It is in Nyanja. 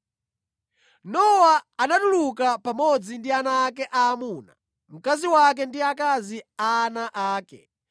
Nowa anatuluka pamodzi ndi ana ake aamuna, mkazi wake ndi akazi a ana ake.